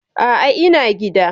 A'a, ina gida.